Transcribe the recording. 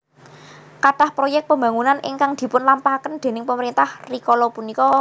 Kathah proyek pembangunan ingkang dipun lampahaken déning pemerintah rikala punika